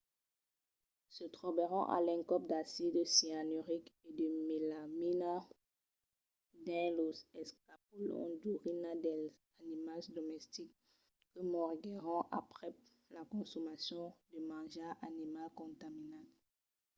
se trobèron a l'encòp d’acid cianuric e de melamina dins los escapolons d’urina dels animals domestics que moriguèron aprèp la consomacion de manjar animal contaminat